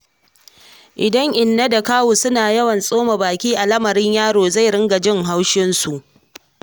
Idan inna da kawu suna yawan tsoma baki a lamarin yaro zai riƙa jin haushinsu.